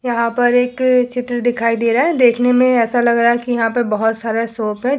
यहाँ पर एक चित्र दिखाई दे रहा है देखने में ऐसा लग रहा है कि यहाँ पर बहोत सारा शॉप है।